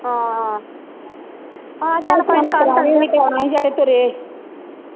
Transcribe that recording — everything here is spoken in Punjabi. ਹਾਂ ਅਹ ਹਾਂ ਚਲ ਕੋਈ ਨਹੀਂ ਕਲ ਚਲ ਜਾ ਗੇ ਹੁਣ ਪ੍ਰੋਹਣੇ ਵੀ ਤਾ ਆਉਣੇ ਹੀ ਜਿਹੜੇ ਤੁਰੇ ਆ।